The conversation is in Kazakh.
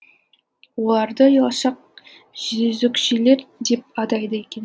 оларды ұялшақ жезөкшелер деп атайды екен